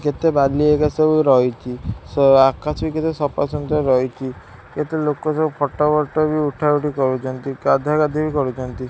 କେତେ ବାଲି ଏକା ସବୁ ରହିଚି ସ ଆକାଶ ବି କେତେ ସଫା ସୁନ୍ଦର ରହିଚି କେତେ ଲୋକ ସବୁ ଫଟ ବଟ ବି ଉଠା-ଉଠି କରୁଚନ୍ତି ଗାଧା-ଗାଧି ବି କରୁଚନ୍ତି।